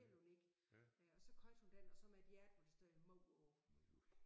Helt unik øh og så købte hun den og så med et hjerte hvor der stod mor på